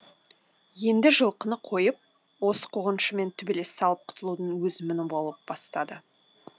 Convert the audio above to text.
енді жылқыны қойып осы қуғыншымен төбелес салып құтылудың өзі мұң бола бастады